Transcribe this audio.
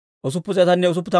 Bes'aaya yaratuu 324.